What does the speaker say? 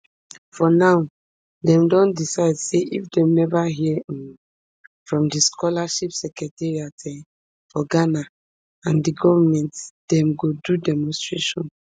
for now dem don decide say if dem neva hear um from di scholarship secretariat um for ghana and di goment dem go do demonstration